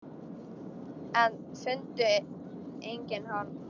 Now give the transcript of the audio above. En fundu engin horn.